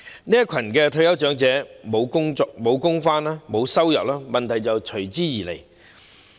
這群退休長者沒有工作，沒有收入，問題隨之而來。